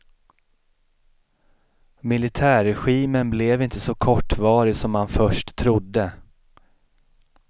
Militärregimen blev inte så kortvarig som man först trodde.